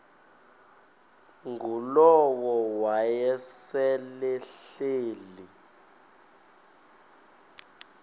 ngulowo wayesel ehleli